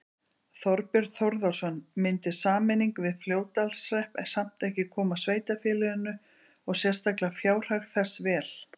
Þorbjörn Þórðarson: Myndi sameining við Fljótsdalshrepp samt ekki koma sveitarfélaginu og sérstaklega fjárhag þess vel?